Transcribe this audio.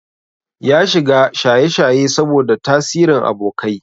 Ya shiga shayeshaye saboda tasirin abokai.